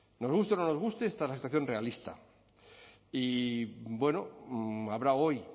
nos guste o no nos guste esta es la actuación realista y bueno habrá hoy